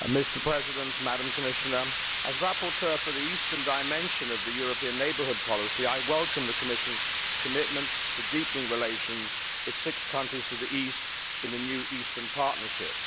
Mr President, as rapporteur for the eastern dimension of the European Neighbourhood Policy, I welcome the Commission's commitment to deepening relations with six countries to the east in the new Eastern Partnership.